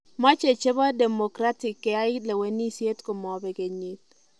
Mache chebo Democratic keyai lewenisiet komabek kenyit